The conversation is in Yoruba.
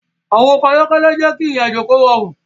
Awọn ọkọ ayọkẹlẹ jẹ ki irin-ajo rọrun